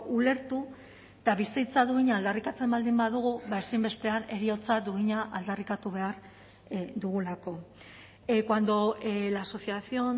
ulertu eta bizitza duina aldarrikatzen baldin badugu ezinbestean heriotza duina aldarrikatu behar dugulako cuando la asociación